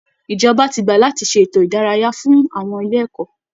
Ìjọba ti gbà láti ṣe ètò ìdárayá fún àwọn ilé ẹ̀kọ́